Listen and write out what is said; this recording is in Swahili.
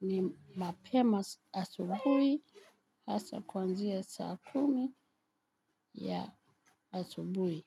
ni mapema asubuhi hasa kuanzia saa kumi ya asubuhi.